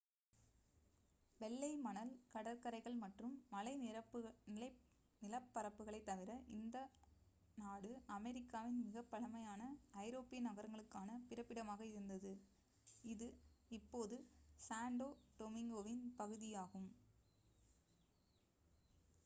வெள்ளை மணல் கடற்கரைகள் மற்றும் மலை நிலப்பரப்புகளைத் தவிர இந்த நாடு அமெரிக்காவின் மிகப் பழமையான ஐரோப்பிய நகரங்களுக்கான பிறப்பிடமாக இருந்தது இது இப்போது சாண்டோ டொமிங்கோவின் பகுதியாகும்